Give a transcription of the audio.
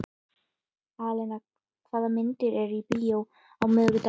Alena, hvaða myndir eru í bíó á miðvikudaginn?